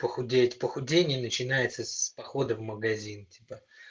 похудеть похудение начинается с похода в магазин типа